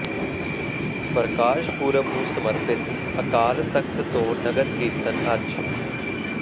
ਪ੍ਰਕਾਸ਼ ਪੁਰਬ ਨੂੰ ਸਮਰਪਿਤ ਅਕਾਲ ਤਖ਼ਤ ਤੋਂ ਨਗਰ ਕੀਰਤਨ ਅੱਜ